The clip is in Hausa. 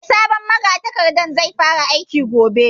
Eh, sabon magatakardan zai fara aiki gobe